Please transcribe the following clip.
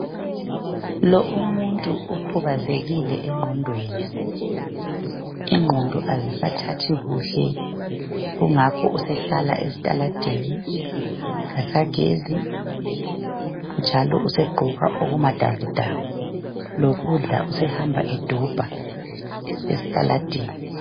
Lo umuntu ukhubazekile engqondweni , ingqondo azisathathi kuhle , kungakho sehlala estaladeni kasagezi njalo usegqoka okumadabudabu lokudla sehamba edobha estaladeni